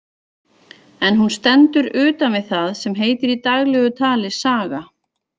En hún stendur utan við það sem heitir í daglegu tali saga.